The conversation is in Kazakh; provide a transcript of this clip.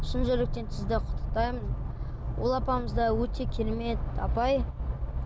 шын жүректен сізді құттықтаймын ол апамыз да өте керемет апай